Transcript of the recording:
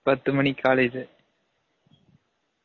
பத்து மனிக்கு காலலேஜ்